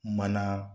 Mana